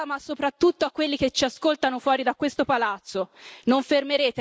Lo dico all'Aula, ma soprattutto a quelli che ci ascoltano fuori da questo palazzo.